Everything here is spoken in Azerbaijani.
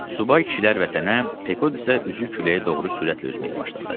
Subay kişilər vətənə, Pekod isə üzü küləyə doğru sürətlə üzməyə başladı.